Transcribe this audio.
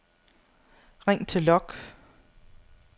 ring til log